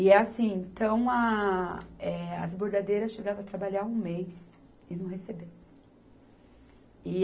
E assim, então a, eh, as bordadeiras chegavam a trabalhar um mês e não receberam.